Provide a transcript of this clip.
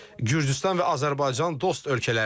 Gürcüstan və Azərbaycan dost ölkələrdir.